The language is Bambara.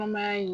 Kɔnɔmaya in